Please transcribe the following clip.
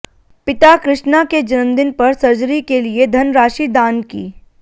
पिता कृष्णा के जन्मदिन पर सर्जरी के लिए धनराशि दान की